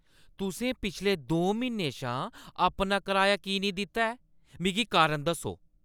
तुसें पिछले दो म्हीनें शा अपना किराया की नेईं दित्ता ऐ? मिगी कारण दस्सो।